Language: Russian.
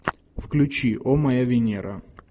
включи о моя венера